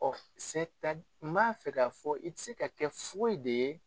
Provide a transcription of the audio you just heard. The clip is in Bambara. m'a fɛ k'a fɔ i tɛ se ka kɛ foyi de ye.